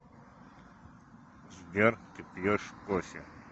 сбер ты пьешь кофе